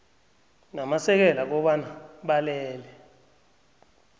namasekela kobana balele